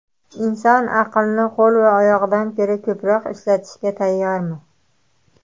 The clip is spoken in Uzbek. Inson aqlni qo‘l va oyoqdan ko‘ra ko‘proq ishlatishga tayyormi?